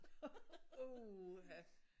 Uha!